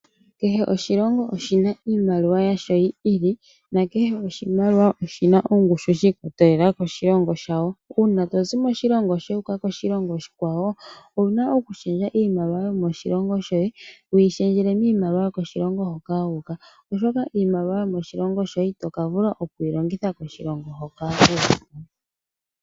Kehe oshilongo oshi na iimaliwa yasho yi ili, nakehe oshimaliwa oshi na ongushu shi ikwatelela koshilongo shayo. Uuna to zi moshilongo sheni wu uka koshilongo oshikwawo, owu na okushendja iimaliwa yomoshilongo shoye, wu yi shendjele miimaliwa yokoshilongo shoka wu uka, oshoka yomoshilongo shoye ito ka vula oku yi longitha koshilongo hoka wu uka.